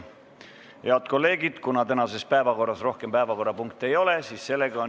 Head kolleegid, kuna tänases päevakorras rohkem päevakorrapunkte ei ole, on istung lõppenud.